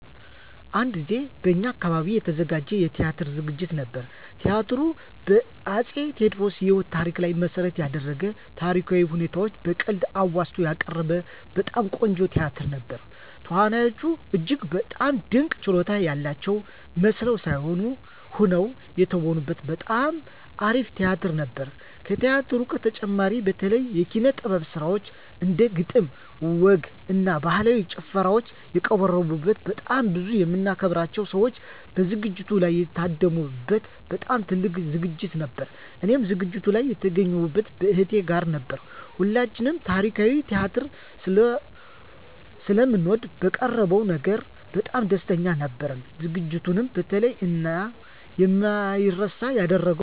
አንድ ጊዜ በእኛ አካባቢ የተዘጋጀ የቲያትር ዝግጅት ነበር። ቲያትሩ በ አፄ ቴዎድሮስ የህይወት ታሪክ ላይ መሰረት የደረገ ታሪካዊ ሁነቶችን በቀልድ አዋዝቶ ያቀረበ በጣም ቆንጆ ቲያትር ነበር። ተዋናዮቹ እጅግ በጣም ድንቅ ችሎታ ያላቸው መስለው ሳይሆን ሆነው የተወኑበት በጣም አሪፍ ቲያትር ነበር። ከቲያትሩ በተጨማሪም የተለያዩ የኪነ - ጥበብ ስራዎች እንደ ግጥም፣ ወግ እና ባህላዊ ጭፈራዎች የቀረቡበት በጣም ብዙ የምናከብራቸው ሰዎች በዝግጅቱ ላይ የታደሙ በት በጣም ትልቅ ዝግጅት ነበር። እኔም ዝግጅቱ ላይ የተገኘሁት ከእህቴ ጋር ነበር። ሁለታችንም ታሪካዊ ቲያትር ስለምንወድ በቀረበው ነገር በጣም ደስተኞች ነበርን። ዝግጅቱንም የተለየ እና የማይረሳ ያደረገው ሁለታችንም እጅግ የምናደንቃቸው እና የምንወዳቸውን ትልልቅ የኪነ -ጥበብ ሰዎችን ያገኘንበት አጋጣሚ ስለነበር ነው።